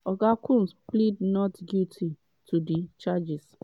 oga combs plead not guilty to di charges.